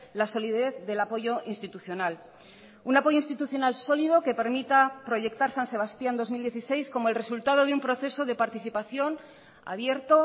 la solidez del apoyo institucional un apoyo institucional sólido que permita proyectar san sebastián dos mil dieciséis como el resultado de un proceso de participación abierto